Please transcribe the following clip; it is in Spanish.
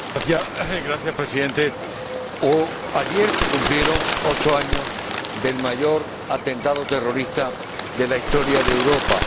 Señor Presidente, ayer se cumplieron ocho años del mayor atentado terrorista de la historia de Europa.